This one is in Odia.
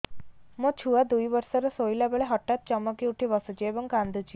ମୋ ଛୁଆ ଦୁଇ ବର୍ଷର ଶୋଇଲା ବେଳେ ହଠାତ୍ ଚମକି ଉଠି ବସୁଛି ଏବଂ କାଂଦୁଛି